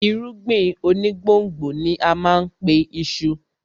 Irúgbìn onígbòǹgbò ni á má a pe iṣu